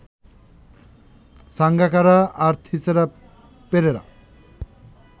সাঙ্গাকারা আর থিসারা পেরেরা